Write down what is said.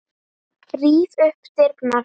Ríf upp dyrnar.